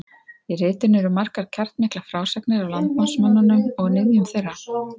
Í ritinu eru margar kjarnmiklar frásagnir af landnámsmönnunum og niðjum þeirra.